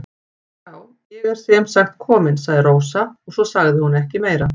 Já, ég er sem sagt komin, sagði Rósa og svo sagði hún ekki meira.